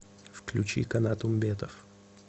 включи канат умбетов